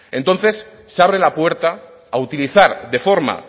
entonces se abre la puerta a utilizar de forma